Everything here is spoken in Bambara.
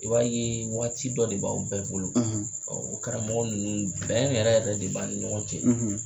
I b'a ye waati dɔ de b'aw bɛɛ bolo o karamɔgɔ ninnu bɛn yɛrɛ yɛrɛ de b'an ni ɲɔgɔn cɛ.